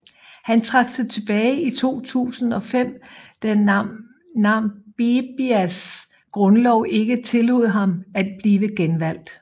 Han trak sig tilbage i 2005 da Namibias grundlov ikke tillod ham at blive genvalgt